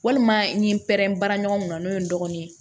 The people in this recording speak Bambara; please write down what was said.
Walima n ye n pɛrɛn bara ɲɔgɔn na n'o ye n dɔgɔnin ye